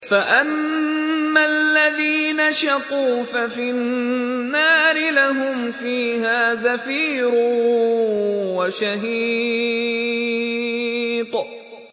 فَأَمَّا الَّذِينَ شَقُوا فَفِي النَّارِ لَهُمْ فِيهَا زَفِيرٌ وَشَهِيقٌ